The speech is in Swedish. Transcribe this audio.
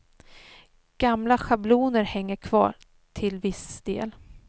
Gamla schabloner hänger kvar till viss del.